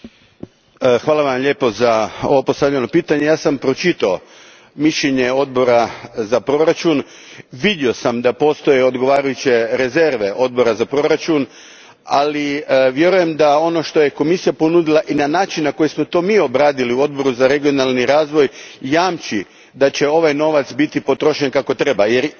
Pročitao sam mišljenje Odbora za proračun, vidio sam da postoje odgovarajuće rezerve Odbora za proračun, ali vjerujem da ono što je Komisija ponudila, i način na koji smo to mi obradili u Odboru za regionalni razvoj, jamči da će ovaj novac biti potrošen kako treba jer u suprotnom ćemo, naravno, morati reagirati.